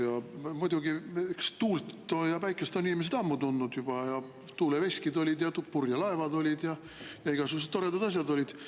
Tuult ja päikest on inimesed juba ammu tundnud: tuuleveskid olid ja purjelaevad olid ja igasugused toredad asjad olid.